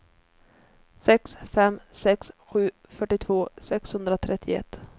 sex fem sex sju fyrtiotvå sexhundratrettioett